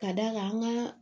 Ka d'a kan an ka